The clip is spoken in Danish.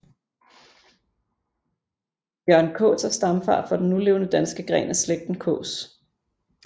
Jørgen Kaas er stamfar for den nulevende danske gren af slægten Kaas